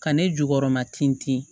Ka ne jukɔrɔma tin ten